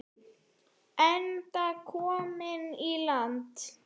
Enda kominn í land.